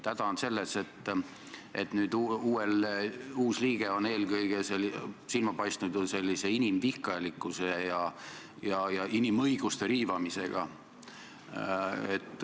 Häda on selles, et uus liige on eelkõige silma paistnud inimvihkajalikkusega ja inimõiguste riivamisega.